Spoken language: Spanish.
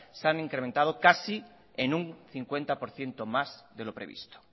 se han incrementado casi en un cincuenta por ciento más de lo previsto